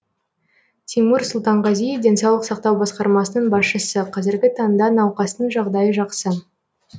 тимур сұлтанғазиев денсаулық сақтау басқармасының басшысы қазіргі таңда науқастың жағдайы жақсы